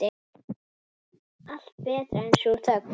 Allt betra en sú þögn.